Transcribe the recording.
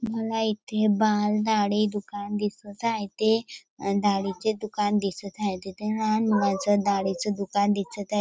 मला इथे बाल दाढी दुकान दिसत आहे ते दाढीचे दुकान दिसत आहे तेथे लहान मुलांचे दाढीचे दुकान दिसत आ--